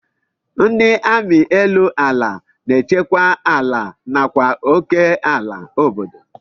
Ndị amị elu ala na-echekwa ala nakwa oké ala obodo